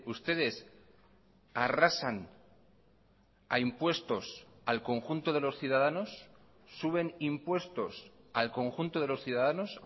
ustedes arrasan a impuestos al conjunto de los ciudadanos suben impuestos al conjunto de los ciudadanos